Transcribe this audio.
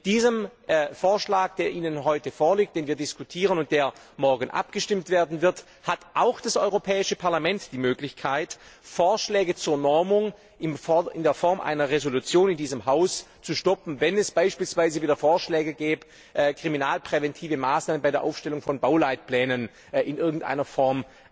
Mit diesem Vorschlag, der Ihnen heute vorliegt, den wir diskutieren und über den morgen abgestimmt werden wird, hat auch das Europäische Parlament die Möglichkeit, Vorschläge zur Normung mittels einer Entschließung in diesem Haus zu stoppen, wenn es beispielsweise wieder Vorschläge gibt, kriminalpräventive Maßnahmen bei der Aufstellung von Bauleitplänen in irgendeiner Form